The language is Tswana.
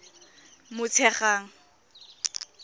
motshegang